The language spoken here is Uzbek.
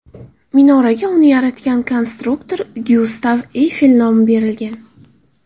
Minoraga uni yaratgan konstruktor Gyustav Eyfel nomi berilgan.